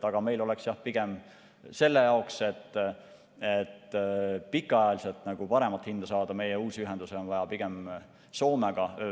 Aga meil oleks selle jaoks, et pikaajaliselt paremat hinda saada, uusi ühendusi vaja pigem Soomega.